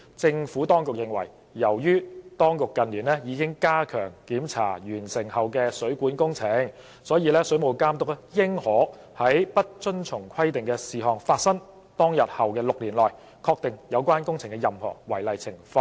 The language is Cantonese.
政府當局認為，由於當局近年已加強檢查完成後的水管工程，水務監督應可在不遵從規定的事項發生當日後的6年內，確定有關工程的任何違例情況。